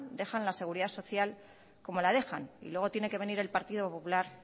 dejan la seguridad social como la dejan y luego tiene que venir el partido popular